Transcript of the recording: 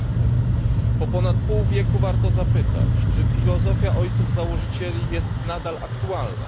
12. Po ponad pół wieku warto zapytać, czy filozofia ojców założycieli jest nadal aktualna.